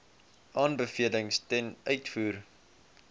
aanbevelings ten uitvoer